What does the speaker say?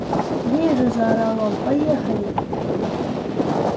вижу заорал он поехали